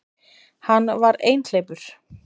Hann var einhleypur.